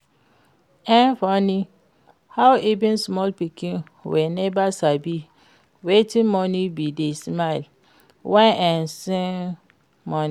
E funny how even small pikin wey never sabi wetin money be dey smile when im see money